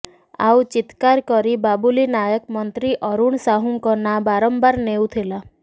ଆଉ ଚିତ୍କାର କରି ବାବୁଲି ନାୟକ ମନ୍ତ୍ରୀ ଅରୁଣ ସାହୁଙ୍କ ନାଁ ବାରମ୍ବାର ନେଉଥିଲେ